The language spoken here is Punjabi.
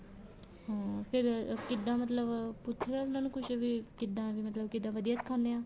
ਹਮ ਫ਼ੇਰ ਕਿੱਦਾਂ ਮਤਲਬ ਪੁੱਛਣਾ ਉਹਨਾ ਨੂੰ ਕੁੱਛ ਵੀ ਕਿੱਦਾਂ ਵੀ ਮਤਲਬ ਕਿੱਦਾਂ ਵਧੀਆ ਸਿਖਾਦੇ ਹੈ